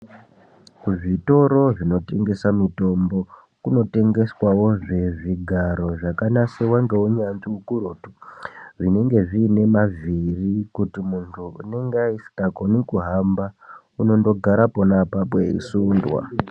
Kuzvitoro kunotengesa mitombo kunotengeswawo zvigaro zvakanasirwa neunyanzvi ukurutu zvinenge zviine mavhiri kuti muntu anenge asingakoni kunasa kuhamba unondogara apapo eisundwa.